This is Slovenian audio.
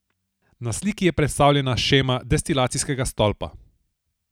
Na sliki je predstavljena shema destilacijskega stolpa.